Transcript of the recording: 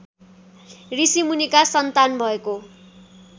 ऋषिमुनिका सन्तान भएको